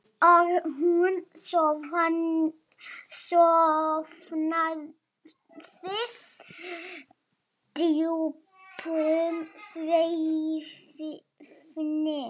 Og hún sofnaði djúpum svefni.